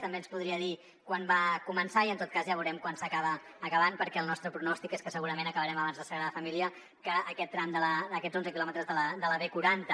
també ens podria dir quan va començar i en tot cas ja veurem quan s’acaba acabant perquè el nostre pronòstic és que segurament acabarem abans la sagrada família que aquest tram d’aquests onze quilòmetres de la b quaranta